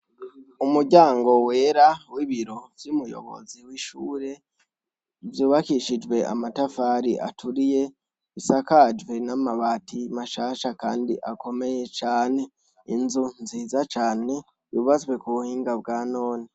Umuryango wera wibiro vy'umuyobozi w'ishure vyubakishijwe amatafari aturiye bisakajwe n'amabati mashasha, kandi akomeye cane inzu nziza cane bubazwe ku buhinga bwa none.